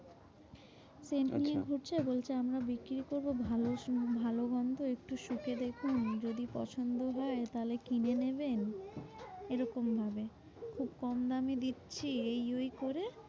Scent আচ্ছা নিয়ে ঘুরছে। বলছে আমরা বিক্রি করবো ভালো scent ভালো গন্ধ। একটু শুকে দেখুন যদি পছন্দ হয়, তাহলে কিনে নেবেন। এরকমভাবে খুব কম দামে দিচ্ছি এই ওই করে